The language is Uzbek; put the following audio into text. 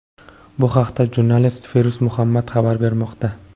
Bu haqda jurnalist Feruz Muhammad xabar bermoqda.